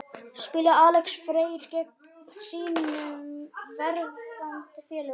Spilar Alex Freyr gegn sínum verðandi félögum?